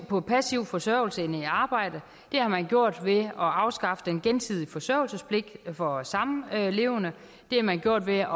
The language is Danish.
på passiv forsørgelse end i arbejde det har man gjort ved at afskaffe den gensidige forsørgelsespligt for samlevende det har man gjort ved at